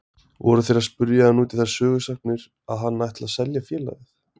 Voru þeir að spyrja hann út í þær sögusagnir að hann ætli að selja félagið.